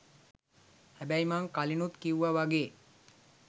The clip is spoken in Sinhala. හැබැයි මං කලිනුත් කිව්වා වගේ